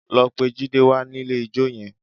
Lọ pe Jide wá nílé ijó yẹn!